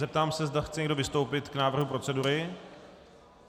Zeptám se, zda chce někdo vystoupit k návrhu procedury.